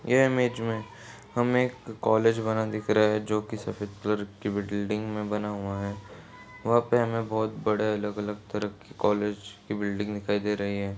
यह इमेज में हमे एक कॉलेज बना दिख रहा है जोकि सफेद कलर की बिल्डिंग में बना हुआ है वहा पे हमे बहोत बड़े अलग अलग तरह के कॉलेज की बिल्डिंग दिखाई दे रही है।